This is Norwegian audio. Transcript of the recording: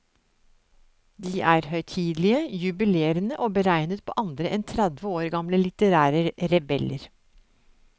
De er høytidelige, jubilerende og beregnet på andre enn tredve år gamle litterære rebeller.